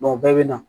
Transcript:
o bɛɛ bɛ na